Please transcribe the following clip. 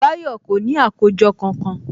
Báyọ̀ kò ní àkójọ kankan